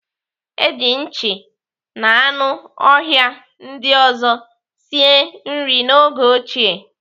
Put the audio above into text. Eji nchi na anụ ọhịa ndị ọzọ sie nri n'oge ochie.